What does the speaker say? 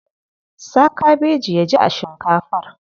Sa kabeji ya ji a shinkafar.